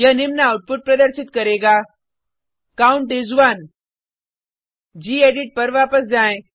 यह निम्न आउटपुट प्रदर्शित करेगा काउंट इस 1 गेडिट पर वापस जाएँ